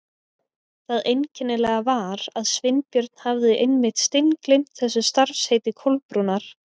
Það einkennilega var að Sveinbjörn hafði einmitt steingleymt þessu starfsheiti Kolbrúnar.